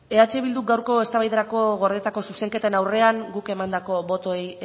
eh bilduk gaurko eztabaidarako gordetako zuzenketen aurrean guk emandako botoei